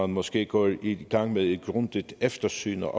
måske går i gang med et grundigt eftersyn og